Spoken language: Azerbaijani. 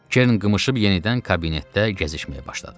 Kern qımışıb yenidən kabinetdə gəzişməyə başladı.